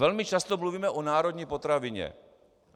Velmi často mluvíme o národní potravině.